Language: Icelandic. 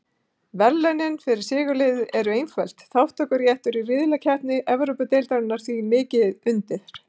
Verðlaunin fyrir sigurliðið eru einföld, þátttökuréttur í riðlakeppni Evrópudeildarinnar og því mikið undir.